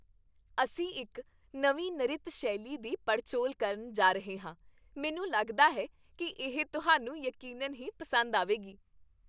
ਅਸੀਂ ਇੱਕ ਨਵੀਂ ਨਰਿਤ ਸ਼ੈਲੀ ਦੀ ਪੜਚੋਲ ਕਰਨ ਜਾ ਰਹੇ ਹਾਂ, ਮੈਨੂੰ ਲੱਗਦਾ ਹੈ ਕੀ ਇਹ ਤੁਹਾਨੂੰ ਯਕੀਨਨ ਹੀ ਪਸੰਦ ਆਵੇਗੀ।